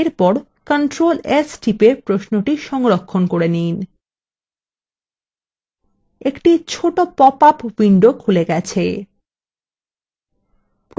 এরপর control s টিপে প্রশ্নটি সংরক্ষণ করে নিন একটি ছোট পপআপ window খুলে গেছে